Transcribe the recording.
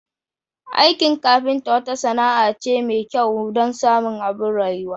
Aikin kafinta wata sana'a ce mai kyau don samun abin rayuwa.